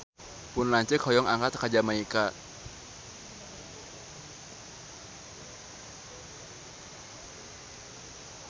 Pun lanceuk hoyong angkat ka Jamaika